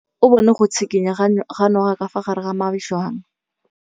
O bone go tshikinya ga noga ka fa gare ga majang.